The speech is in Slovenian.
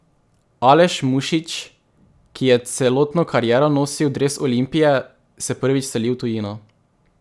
Aleš Mušič, ki je celotno kariero nosil dres Olimpije, se prvič seli v tujino.